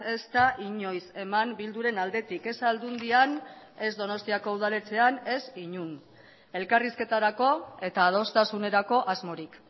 ez da inoiz eman bilduren aldetik ez aldundian ez donostiako udaletxean ez inon elkarrizketarako eta adostasunerako asmorik